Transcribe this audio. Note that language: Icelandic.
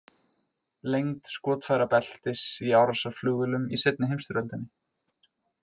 Lengd skotfærabeltis í árásarflugvélum í seinni heimsstyrjöldinni.